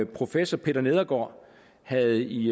professor peter nedergaard havde i